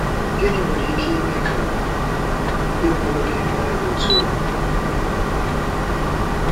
Gịnị nwere ike ime ka ndị mụrụ gị mee otú a?